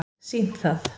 sýnt það